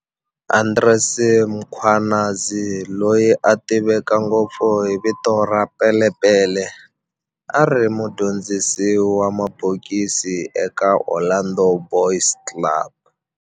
Andries Mkhwanazi, loyi a tiveka ngopfu hi vito ra"Pele Pele", a ri mudyondzisi wa mabokisi eka Orlando Boys Club.